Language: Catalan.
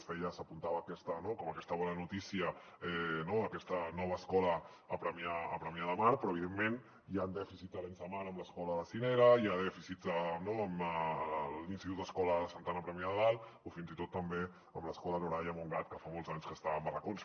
s’apuntava aquesta bona notícia no aquesta nova escola a premià de mar però evidentment hi han dèficits a arenys de mar amb l’escola sinera hi ha dèficits a l’institut escola santa anna a premià de dalt o fins i tot també a l’escola norai a montgat que fa molts anys que està en barracons